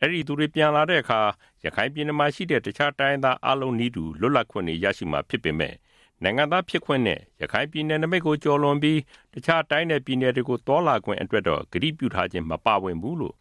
အဲဒီသူတွေပြန်လာတဲ့အခါ ရခိုင်ပြည်နယ်ရှိ တခြားတိုင်းရင်းသားအားလုံးနည်းတူ လွတ်လပ်ခွင့်တွေ ရရှိမှာဖြစ်ပေမယ့် နိုင်ငံသားဖြစ်ခွင့်နဲ့ ရခိုင်ပြည် နယ်နိမိတ်ကို ကျော်လွန်ပြီး တခြား တိုင်းနဲ့ပြည်နယ်တွေကို သွားလာခွင့်အတွက် ကတိပြုခြင်းတော့ မပါဝင်ဘူးလို့